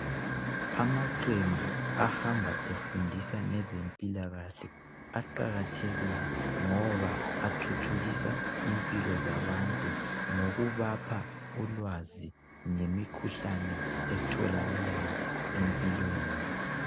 Amaqembu ahamba efundisa ngezempilakahle aqakathekile ngoba athuthukisa impilo zabantu ngokubapha ulwazi ngemikhuhlane etholakalayo empilweni.